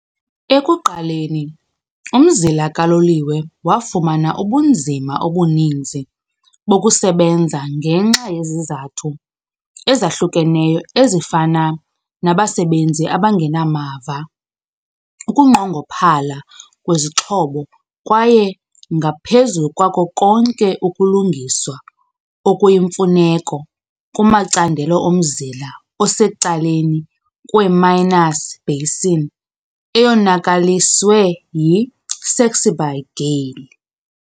Ekuqaleni umzila kaloliwe wafumana ubunzima obuninzi bokusebenza ngenxa yezizathu ezahlukeneyo ezifana nabasebenzi abangenamava, ukunqongophala kwezixhobo kwaye ngaphezu kwako konke ukulungiswa okuyimfuneko kumacandelo omzila osecaleni kweMinas basin eyonakaliswe yi "Saxby Gale".